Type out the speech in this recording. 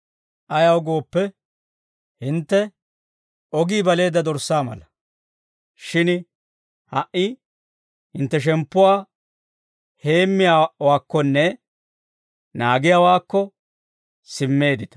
Ayaw gooppe, hintte ogii baleedda dorssaa mala; shin ha"i hintte shemppuwaa heemmiyaawaakkonne naagiyaawaakko simmeeddita.